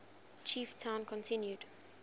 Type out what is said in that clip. chief town continued